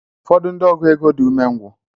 Ụfọdụ ndị ọgụ égo dị umengwu.